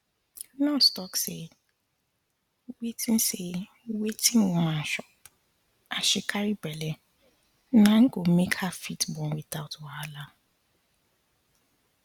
nurse talk say wetin say wetin woman chop as she carry belle na go make her fit born without wahala